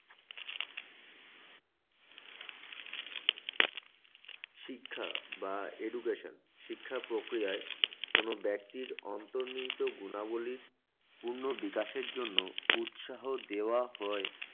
শিক্ষা বা education শিক্ষা প্রক্রিয়ায় কোন ব্যক্তির অন্তর্নিহিত গুণাবলীর পূর্ণ বিকাশের জন্য উৎসাহ দেওয়া হয়।